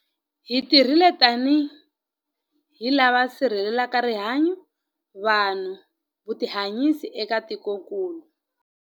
Hi tirhile tanihi lava va sirhelelaka rihanyu, vanhu na vutihanyisi eka tikokulu.